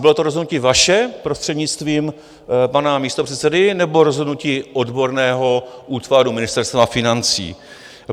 Bylo to rozhodnutí vaše, prostřednictvím pana místopředsedy, nebo rozhodnutí odborného útvaru Ministerstva financí?